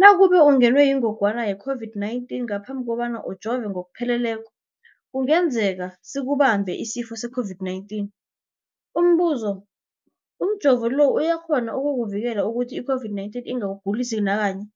Nakube ungenwe yingogwana i-COVID-19 ngaphambi kobana ujove ngokupheleleko, kungenzeka sikubambe isifo se-COVID-19. Umbuzo, umjovo lo uyakghona ukukuvikela ukuthi i-COVID-19 ingakugulisi nakanye?